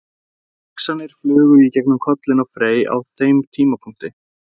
Hvaða hugsanir flugu í gegnum kollinn á Frey á þeim tímapunkti?